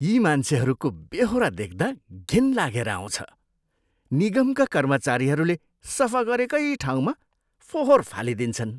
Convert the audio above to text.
यी मान्छेहरूको बेहोरा देख्दा घिन लागेर आउँछ। निगमका कर्मचारीहरूले सफा गरेकै ठाउँमा फोहोर फालिदिन्छन्।